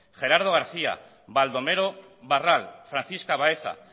gerardo garcía baldomero barral francisca baeza